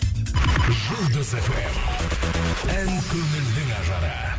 жұлдыз фм ән көңілдің ажары